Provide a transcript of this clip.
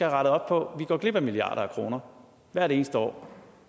rettet op på vi går glip af milliarder af kroner hvert eneste år